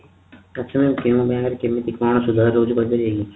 ଆଛା mam କେଉଁ bank ରେ କେମିତି କଣ ସୁଧ ରହୁଛି କହିପାରିବେ କି